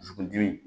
Dusukundimi